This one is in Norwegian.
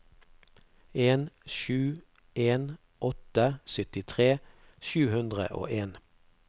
en sju en åtte syttitre sju hundre og en